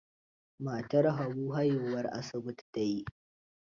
Matar Habu haihuwar asibiti ta yi.